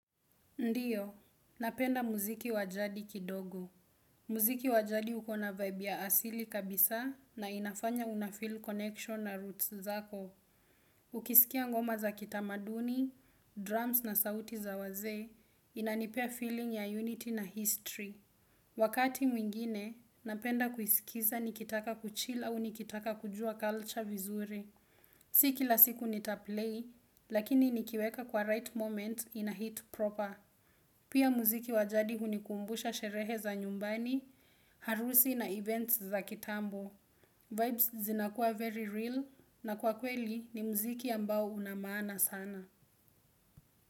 Ndiyo, napenda muziki wajadi kidogo. Muziki wa jadi uko na vibe ya asili kabisa na inafanya unafill connection na roots zako. Ukisikia ngoma za kitamaduni, drums na sauti za wazee, inanipea feeling ya unity na history. Wakati mwingine, napenda kuisikiza nikitaka kuchill au nikitaka kujua culture vizuri. Si kila siku nitaplay, lakini nikiweka kwa right moment in a hit proper. Pia muziki wa jadi hunikumbusha sherehe za nyumbani, harusi na events za kitambo. Vibes zinakuwa very real na kwa kweli ni muziki ambao una maana sana.